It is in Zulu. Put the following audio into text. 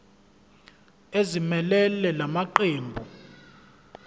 ezimelele la maqembu